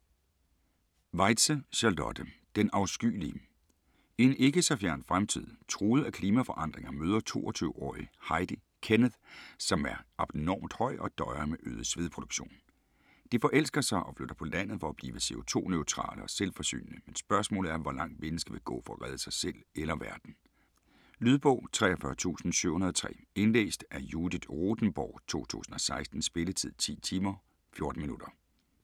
Weitze, Charlotte: Den afskyelige I en ikke så fjern fremtid, truet af klimaforandringer møder 22-årige Heidi Kenneth, som er abnormt høj og døjer med øget svedproduktion. De forelsker sig og flytter på landet for at blive co2-neutrale og selvforsynende, men spørgsmålet er hvor langt mennesket vil gå for at redde sig selv eller verden. Lydbog 43703 Indlæst af Judith Rothenborg, 2016. Spilletid: 10 timer, 14 minutter.